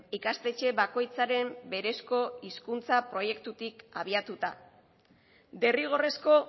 ikastetxe bakoitzaren berezko hizkuntza proiektutik abiatuta derrigorrezko